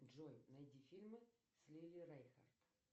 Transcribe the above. джой найди фильмы с лили рейнхарт